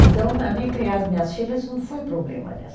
Então, para mim, criar as minhas filhas não foi problema, aliás.